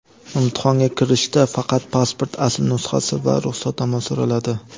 Imtihonga kirishda faqat pasport asl nusxasi va ruxsatnoma so‘raladi.